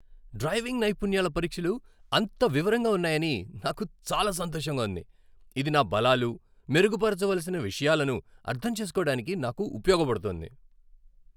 Driving నైపుణ్యాల పరీక్షలు అంత వివరంగా ఉన్నాయని నాకు చాలా సంతోషంగా ఉంది, ఇది నా బలాలు, మెరుగుపరచవలసిన విషయాలను అర్థం చేసుకోవడానికి నాకు ఉపయోగపడుతోంది.